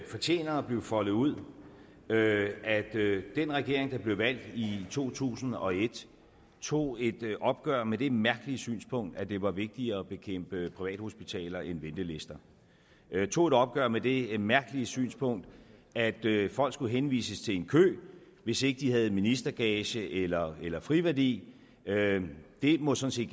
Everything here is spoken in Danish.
fortjener at blive foldet ud at at den regering der blev valgt i to tusind og et tog et opgør med det mærkelige synspunkt at det var vigtigere at bekæmpe privathospitaler end ventelister tog et opgør med det mærkelige synspunkt at folk skulle henvises til en kø hvis ikke de havde ministergage eller eller friværdi det må sådan